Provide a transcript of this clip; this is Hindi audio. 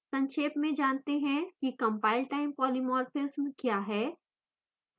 संक्षेप में जानते हैं कि compile time polymorphism क्या है